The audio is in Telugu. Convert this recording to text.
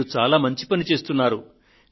మీరు చాలా మంచి పని చేస్తున్నారు